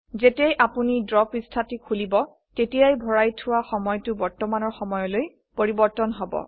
যেতিয়াই আপোনি ড্ৰ পৃষ্ঠাটি খুলিব তেতিয়াই ভৰাই থোৱা সময়টো বৰ্তমানৰ সময়লৈ পৰিবৰ্তন হব